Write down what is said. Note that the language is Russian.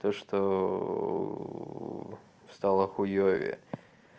т что стало хуевее